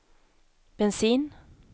bensin